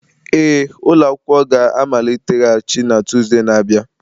Ee, ụlọ akwụkwọ ga-amaliteghachi na Tuzdee na-abịa.